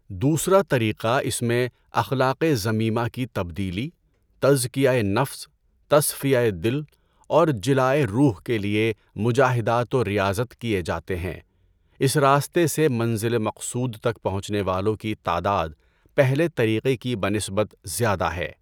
دوسرا طریقہ اس میں اخلاقِ ذمیمہ کی تبدیلی، تزکیۂ نفس، تصفیہ دل اور جلائے روح کے لیے مجاہدات و ریاضت کیے جاتے ہیں اس راستے سے منزل مقصود تک پہنچنے والوں کی تعداد پہلے طریقہ کی بنسبت زیادہ ہے